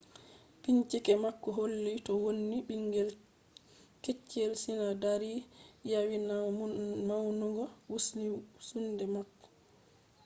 bincike mako holli to wonni bingel kettchel sinadari yawinan maunugo wumsunde mako